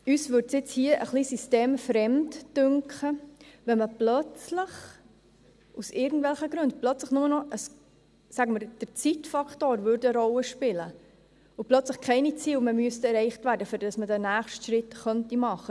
Uns dünkte es jetzt hier ein wenig systemfremd, wenn aus irgendwelchen Gründen – sagen wir, dass der Zeitfaktor eine Rolle spielen würde – plötzlich keine Ziele mehr erreicht werden müssten, damit man den nächsten Schritt machen könnte.